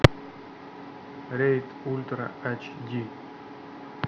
рейд ультра айч ди